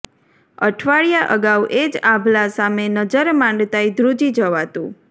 અઠવાડિયા અગાઉ એ જ આભલા સામે નજર માંડતાંય ધ્રુજી જવાતું